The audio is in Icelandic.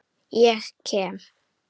Ég kem.